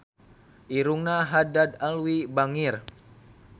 Irungna Haddad Alwi bangir